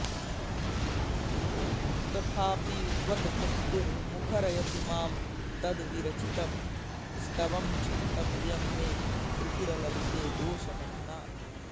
तथापि त्वद्भक्तिर्मुखरयति मां तद्विरचितं स्तवं क्षन्तव्यं मे त्रिपुरललिते दोषमधुना